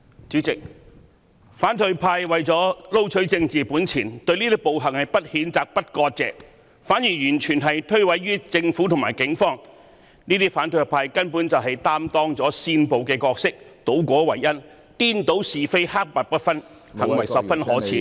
主席，反對派為了撈取政治本錢，對這些暴行不譴責、不割席，反而完全諉過於政府及警方，這些反對派根本擔當了煽暴的角色，他們倒果為因，顛倒是非，黑白不分，行為十分可耻......